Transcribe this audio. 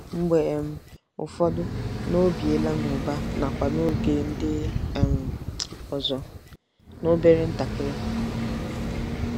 Mgbe um ụfọdụ, o biela n'ụba nakwa n'oge ndị um ọzọ, n'obere ntakịrị.